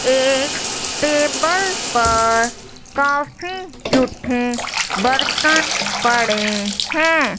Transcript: एक टेबल पर काफी जूठे बर्तन पड़े हैं।